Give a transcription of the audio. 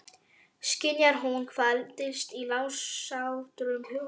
Skynjar hún hvað dylst í launsátrum hugans?